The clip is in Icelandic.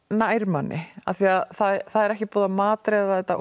nær manni af því að það er ekki búið að matreiða þetta